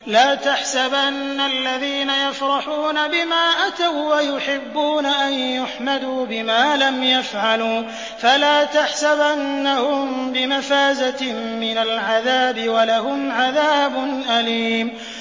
لَا تَحْسَبَنَّ الَّذِينَ يَفْرَحُونَ بِمَا أَتَوا وَّيُحِبُّونَ أَن يُحْمَدُوا بِمَا لَمْ يَفْعَلُوا فَلَا تَحْسَبَنَّهُم بِمَفَازَةٍ مِّنَ الْعَذَابِ ۖ وَلَهُمْ عَذَابٌ أَلِيمٌ